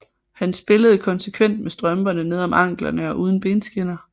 Han spillede konsekvent med strømperne nede om anklerne og uden benskinner